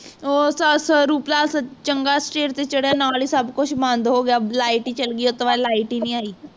ਉਹ ਚੰਗਾ stage ਤੇ ਚੜ੍ਹਿਆ ਨਾਲ ਹੀ ਸਬ ਕੁਛ ਬੰਦ ਹੋਗਿਆ light ਹੀ ਚਾਲੀ ਗਈ ਉਹ ਤੋਂ ਬਾਅਦ light ਹੀ ਨਹੀਂ ਆਈ